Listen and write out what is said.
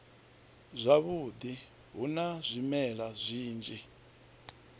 zwavhudi hu na zwimela zwinzhi